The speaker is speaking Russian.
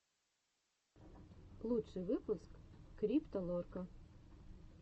лучший выпуск крипто лорка